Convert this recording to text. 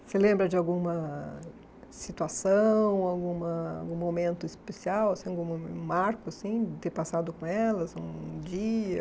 Você lembra de alguma situação, alguma algum momento especial, assim algum um marco assim de ter passado com elas um dia?